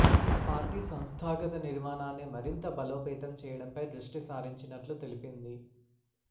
party సంస్థాగత నిర్మాణాన్ని మరింత బలోపేతం చేయడంపై దృష్టి సారించినట్లు తెలిపింది